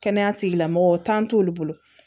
Kɛnɛya tigila mɔgɔ tan t'olu bolo